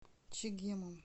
чегемом